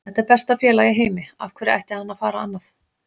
Þetta er besta félag í heimi, af hverju ætti hann að fara annað?